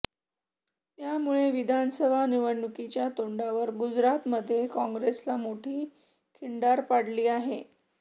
त्यामुळे विधानसभा निवडणुकीच्या तोंडावर गुजरातमध्ये काँग्रेसला मोठी खिंडार पडली आहे